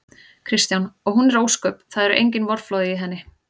Kristján: Og hún er ósköp. það eru engin vorflóð í henni?